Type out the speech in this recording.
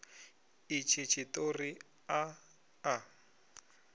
a itshi tshiṱori a a